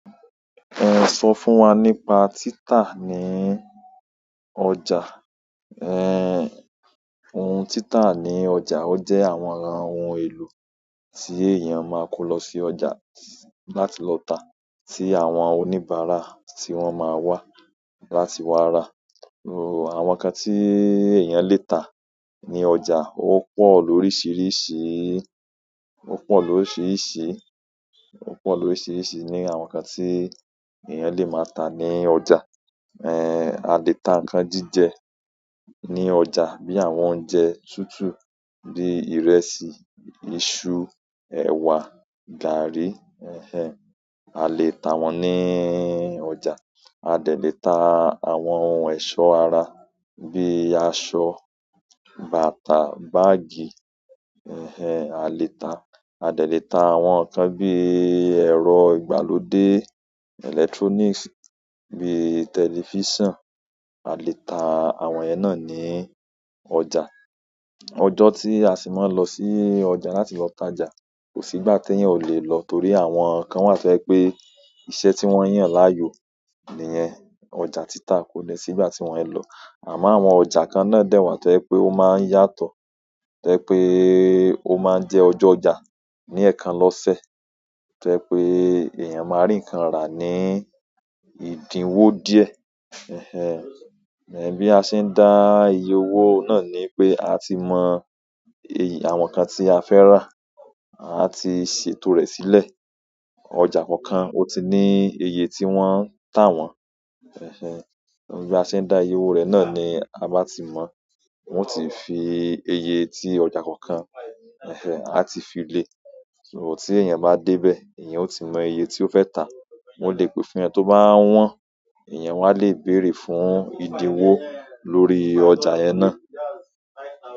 Ẹ sọ fún wa nípa títà níí ọjà. Òun títà ní ọjà, ó jẹ́ àwọn ara ohun èlò tí èèyàn máa n kó lọ sí ọjà láti lọ ta, tí àwọn oníbàárà tí wọ́n máa wá láti wá rà. Àwọn nǹkan tí èèyàn lè tà ní ọjà ó pọ̀ lórísìíríṣìí, ó pọ̀ lórísìíríṣìí, ó pọ̀ lórísìíríṣìí ni àwọn nǹkan tí èèyàn lè máa tà ní ọjà. Ẹ à lè ta nǹkan jíjẹ ní ọjà bíi àwọn oúnjẹ tútù bíi ìrẹsì, iṣu, ẹ̀wà, gààrí. A lè tà wọn ní ọjà. A dẹ̀ lè ta àwọn ohun ẹ̀ṣọ́ ara bíi aṣọ, bàtà, báágì. A lè ta, a lè ta àwọn nǹkan bíi ẹ̀rọ ìgbàlódé, electronics bíi tẹlifíṣàn. A lè ta àwọn yẹn náà ní ọjà. Ọjọ́ tí a ṣì máa n lọ sí ọjà láti lọ tájà kò sí ìgbà tí èèyàn ò le lọ torí àwọn kan wà tó jẹ́ pé iṣẹ́ tí wọ́n yàn láàyò nìyẹn. Ọjà títà kò dẹ̀ sí ìgbà tí wọn é lọ. Àmọ́ àwọn ọjà kan náà dẹ̀ wà tó jẹ́ pé ó máa ń yàtọ̀. Tó jẹ́ ẹ pé e ó máa ń jẹ́ ọjọ́ ọjà ní ẹ̀kan lọ́sẹ̀. Tó jiẹ pé èèyàn máa rí nǹkan rà ní ìdíwó díẹ̀. Ẹ bí a ṣe ń dá iye owó náà ni pé a ti mọ, àwọn nǹkan tí a fẹ́ rà, a ti ṣètò rẹ̀ sílẹ̀. Ọjà kọ̀ọ̀kan ó ti ní iye tí wọ́n ń tà wọ́n. Bí a ṣe ń dá iye owó rẹ̀ náà ni a bá ti mọ. Wọ́n ó ti fi iye tí ọjà kọ̀ọ̀kan, á ti fi lè. Tí èèyàn bá débẹ̀ èèyàn ó ti mọ iye ti ó fẹ́ tàá. Ó lè pè fún ẹ tó bá wọ́n. Ìyẹn wọ́n á lè bèrè fún ìdíwó lórí ọjà yẹn náà.